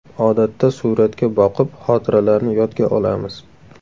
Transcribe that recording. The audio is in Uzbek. Odatda suratga boqib, xotiralarni yodga olamiz.